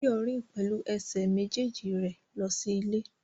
Báyọ̀ rìn pẹ̀lú ẹsẹ̀ méjèèjì rẹ̀ lọ sí ilé